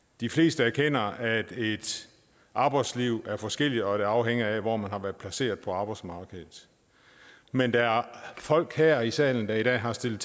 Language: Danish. de fleste erkender at et arbejdsliv er forskelligt og at det afhænger af hvor man har været placeret på arbejdsmarkedet men der er folk her i salen der i dag har stillet